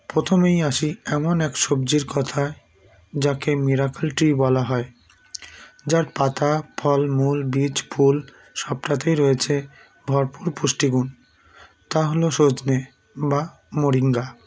প্রথমেই আসি এমন এক সবজির কথায় যাকে miracle tree বলা হয় যার পাতা ফল মূল বীজ ফুল সবটাতেই রয়েছে ভরপুর পুষ্টিগুণ তা হলো সজনে বা moringa